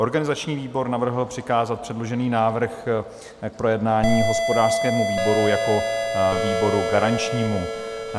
Organizační výbor navrhl přikázat předložený návrh k projednání hospodářskému výboru jako výboru garančnímu.